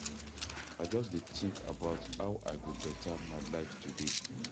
I just dey think about how I go beta my life today.